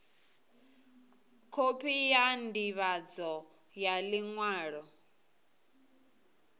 khophi ya ndivhadzo ya liṅwalo